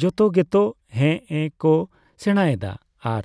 ᱡᱚᱛᱚ ᱜᱮᱛᱚ ᱦᱮᱜᱼᱮ ᱠᱚ ᱥᱮᱲᱟᱮᱫᱟ ᱟᱨᱼ